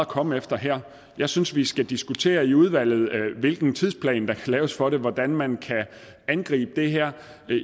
komme efter her jeg synes vi skal diskutere i udvalget hvilken tidsplan der kan laves for hvordan man kan angribe det her